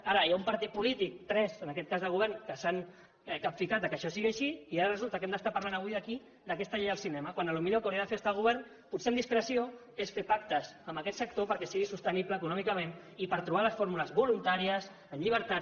ara hi ha un partit polític tres en aquest cas del govern que s’han capficat que això sigui així i ara resulta que hem d’estar parlant avui aquí d’aquesta llei del cinema quan potser el que hauria d’estar fent el govern potser amb discreció és fer pactes amb aquest sector perquè sigui sostenible econòmicament i per trobar les fórmules voluntàries amb llibertat